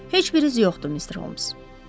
Heç bir iz yoxdur, Mister Holms.